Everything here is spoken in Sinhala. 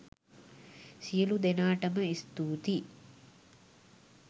සියළු දෙනාටම ස්තුතියි.